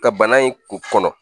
Ka bana in kun kɔnɔ